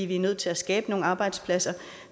vi er nødt til at skabe nogle arbejdspladser og